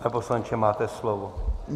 Pane poslanče, máte slovo.